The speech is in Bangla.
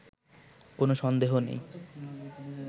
কোনো সন্দেহ নেই